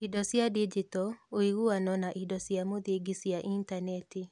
Indo cia Digito, ũiguano na indo cia mũthingi cia Intaneti